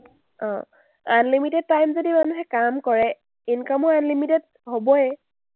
অ, unlimited time যদি মানুহে কাম কৰে, income ও unlimited হ’বয়ে।